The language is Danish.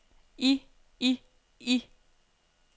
i i i